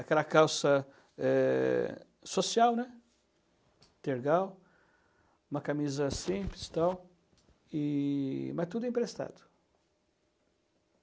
aquela calça eh, social, tergal, uma camisa simples e tal, e, mas tudo emprestado.